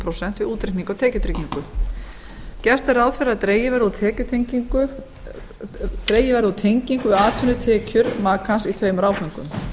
prósent við útreikning á tekjutryggingu gert er ráð fyrir að dregið verði úr tengingu við atvinnutekjur makans í tveimur áföngum